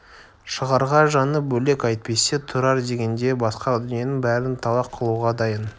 шығарға жаны бөлек әйтпесе тұрар дегенде басқа дүниенің бәрін талақ қылуға дайын